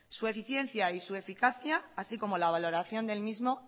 su eficiencia y eficacia así como la valoración del mismo